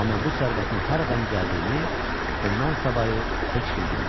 Amma bu sərvətin haradan gəldiyini ondan savayı heç kim bilmirdi.